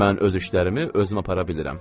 Mən öz işlərimi özüm apara bilirəm.